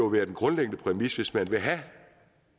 været en grundlæggende præmis at hvis man vil have